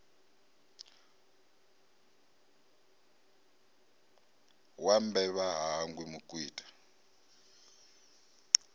wa mbevha ha hangwi mukwita